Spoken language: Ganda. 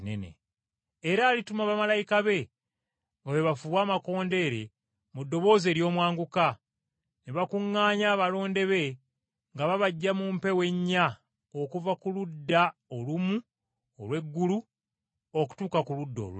Era alituma bamalayika be nga bwe bafuuwa amakondeere mu ddoboozi ery’omwanguka, ne bakuŋŋaanya abalonde be nga babaggya mu mpewo ennya okuva ku ludda olumu olw’eggulu okutuuka ku ludda olulala.”